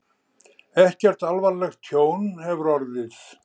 Ekkert alvarlegt tjón hefur orðið